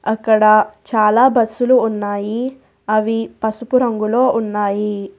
అక్కడ చాలా బస్సులు ఉన్నాయి అవి పసుపు రంగులో ఉన్నాయి.